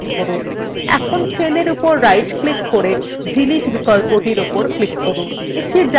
এখন cell উপর right click করে delete বিকল্পর উপর click করুন